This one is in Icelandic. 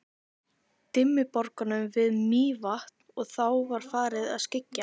Dimmuborgum við Mývatn og þá var farið að skyggja.